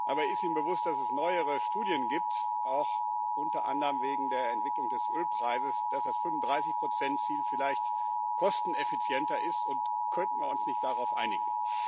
Aber ist Ihnen bewusst, dass es neuere Studien gibt, auch unter anderem wegen der Entwicklung des Ölpreises, dass das 35 Ziel vielleicht kosteneffizienter ist, und könnten wir uns nicht darauf einigen?